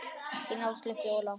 Þín Áslaug Fjóla.